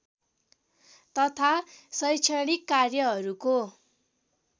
तथा शैक्षणिक कार्यहरूको